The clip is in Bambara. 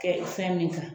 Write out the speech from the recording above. Kɛ fɛn min kan